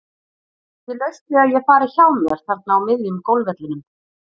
Það er ekki laust við að ég fari hjá mér þarna á miðjum golfvellinum.